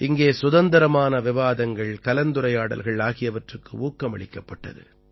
இங்கே சுதந்திரமான விவாதங்கள் கலந்துரையாடல்கள் ஆகியவற்றுக்கு ஊக்கமளிக்கப்பட்டது